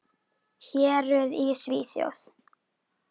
Héruð í Svíþjóð